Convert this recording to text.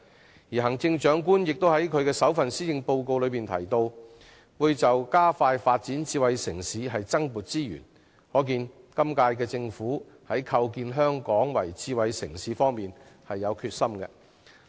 同時，行政長官在其首份施政報告中提到，為了加快發展智慧城市會增撥資源，可見今屆政府有決心把香港構建成為智慧城市。